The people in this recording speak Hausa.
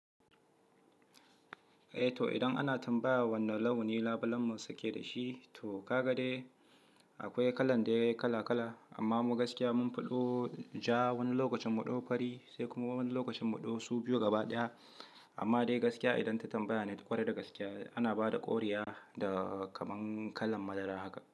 Eh to idan ana tambaya wane launi labulen mu suke da shi to kagade akwai kalan da kala kala amma mu gaskiya mun fito ja wani lokacin muɗo fari sai kuma wani lokacin muɗo su biyu gaba ɗaya amma dai gaskiya idan ta tambaya ne ƙwarai da gaskiya ana bada ƙoriya da kaman kalan madara haka.